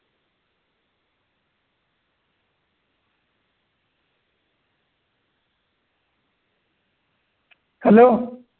Hello